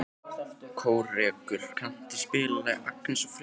Kórekur, kanntu að spila lagið „Agnes og Friðrik“?